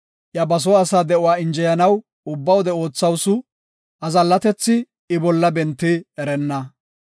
Iya ba soo asaa de7uwa injeyanaw ubba wode oothawusu; azallatethi I bolla bentidi erenna.